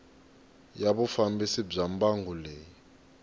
ya vufambisi bya mbangu leyi